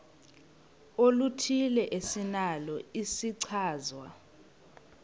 oluthile esinalo isichazwa